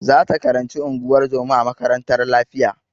Za ta karanci unguwar zoma a makarantar lafiya.